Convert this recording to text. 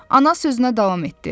Ana sözünə davam etdi.